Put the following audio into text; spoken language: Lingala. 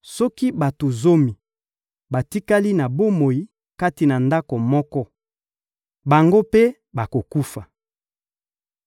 Soki bato zomi batikali na bomoi kati na ndako moko, bango mpe bakokufa.